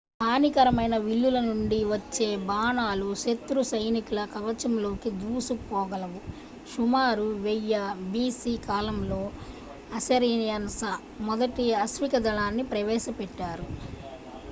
హానికరమైన విల్లుల నుండి వచ్చే బాణాలు శత్రు సైనికుల కవచంలోకి దూసుకుపోగలవు సుమారు 1000 b.c. కాలంలో assyrians మొదటి అశ్వికదళాన్ని ప్రవేశపెట్టారు